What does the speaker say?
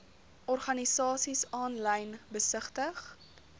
organisasies aanlyn besigtig